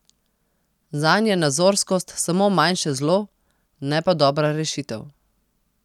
Zanj je nazorskost samo manjše zlo, ne pa dobra rešitev.